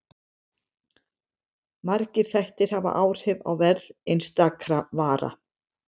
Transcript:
Margir þættir hafa áhrif á verð einstakra vara.